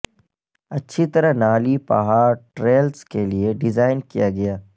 اچھی طرح نالی پہاڑ ٹریلس کے لئے ڈیزائن کیا گیا